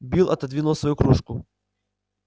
билл отодвинул свою кружку